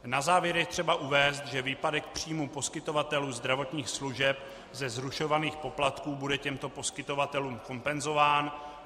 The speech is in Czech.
Na závěr je třeba uvést, že výpadek příjmů poskytovatelů zdravotních služeb ze zrušovaných poplatků bude těmto poskytovatelům kompenzován.